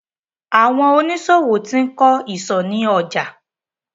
Àwọn oníṣòwò ti ń kọ́ ìsò ni ọjà